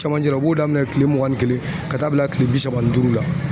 Cɛmancɛ la,u b'o daminɛ kile mugan ni kelen ka taa bila kile bi saba ni duuru la.